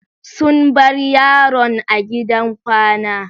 Sun bar yaron a gidan kwana.